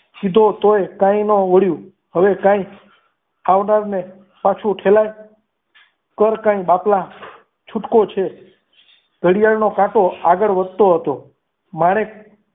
સીધો તોય કાંઈ ના મળ્યું હવે કાંઈ આવનારને પાછું ફેલાય કર કહીને બાટલા છૂટકો છે ઘડિયાળનો કાંટો આગળ વધતો હતો. મારે